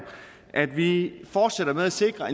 at vi fortsætter med at sikre